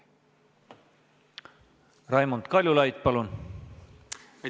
Raimond Kaljulaid, palun!